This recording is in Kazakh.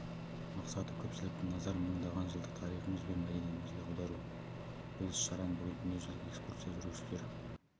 мақсаты көпшіліктің назарын мыңдаған жылдық тарихымыз бен мәдениетімізге аудару бұл іс-шараның бүгін дүниежүзілік экскурсия жүргізушілер